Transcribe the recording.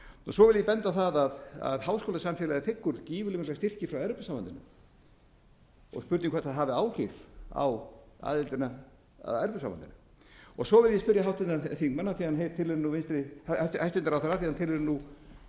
svo vil ég benda á það að háskólasamfélagið þiggur gífurlega mikla styrki frá evrópusambandinu og spurning hvort það hafi áhrif á aðildina að evrópusambandinu svo vil ég spyrja háttvirtan þingmann af því hann tilheyrir nú vinstri hæstvirtur ráðherra af því hann tilheyrir nú vinstri grænum